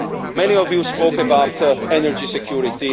Many of you spoke about energy security.